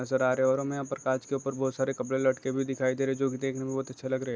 नजर आ रहे है और हमे यहाँ पर कांच के ऊपर बहुत सारे कपड़े लटके भी दिखाई दे रहे है जो कि देखने मे बहुत अच्छे लग रहे है।